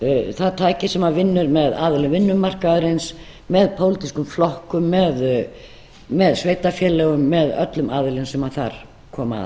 það tæki sem vinnur með aðilum vinnumarkaðarins með pólitískum flokkum með sveitarfélögum með öllum aðilum sem þar koma